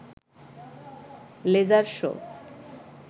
laser show